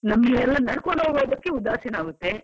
ನಮ್ಗೆಲ್ಲಾ ನಡ್ಕೊಂಡು ಹೋಗ್ಲಿಕ್ಕೆ ಉದಾಸೀನ ಆಗುತ್ತೆ.